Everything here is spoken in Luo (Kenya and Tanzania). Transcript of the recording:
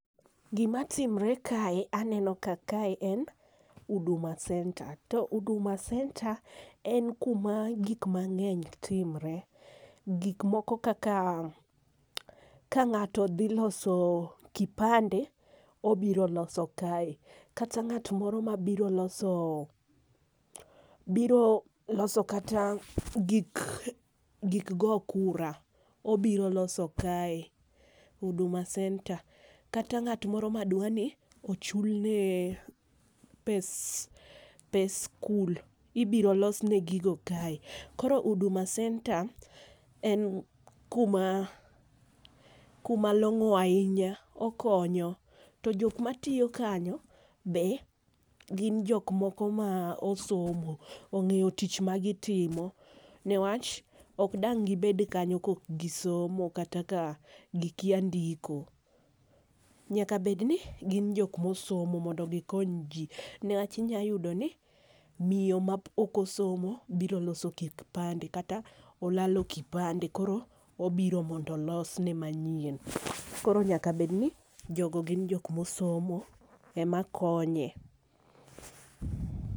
Gi ma timre kae aneno ka kae en huduma center to huduma center en ku ma gik mangeny timre gik moko kaka ka ngato dhi loso kipande, obiro loso kae kata ng'at ma biro loso biro loso kata gik gi kura. Obiro loso kae huduma center. Kata ng'at moro ma dwa ni ochul ne pes skul ibiro los ne gigo kae. Koro huduma center en kuma long'o ainya okonyo . To jok ma tiyo kanyo be gin jok moko ma osomo ne wach ok dang gi bed kanyo kok gi somo kata ka gi kia ndiko. Nyaka bed ni gin jok mosomo mondo gi kony ji. Ne wach inya yudo ni miyo ma ok osomo biro loso kipande kata olalo kipande koro obiro mondo olos ne manyien koro nyak bed ni jogo gin jo ma osomo ema konye.